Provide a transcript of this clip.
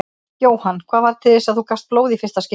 Jóhann: Hvað varð til þess að þú gafst blóð í fyrsta skipti?